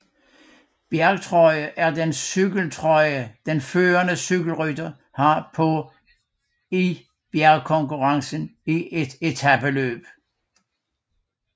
Bjergtrøje er den cykeltrøje den førende cykelrytter har på i bjergkonkurrencen i et etapeløb